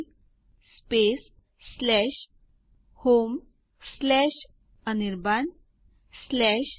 હું ય દાખલ કરી આ ખાતરી કરીશ